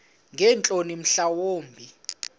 ngeentloni mhla wumbi